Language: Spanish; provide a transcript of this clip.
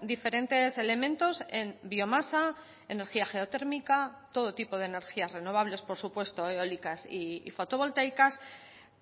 diferentes elementos en biomasa energía geotérmica todo tipo de energías renovables por supuesto eólicas y fotovoltaicas